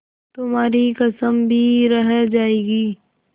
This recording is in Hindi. तुम्हारी कसम भी रह जाएगी